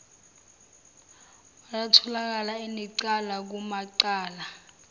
watholakala enecala kumacala